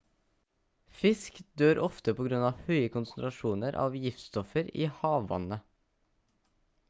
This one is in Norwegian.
fisk dør ofte på grunn av høye konsentrasjoner av giftstoffer i hav-vannet